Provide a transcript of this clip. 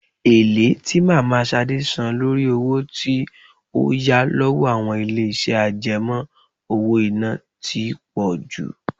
Èlé tí mama Ṣadé san lórí owó tí ó yá lọ́wọ́ àwọn ilé iṣẹ́ àjẹmó-owó-iná tí pọ jù.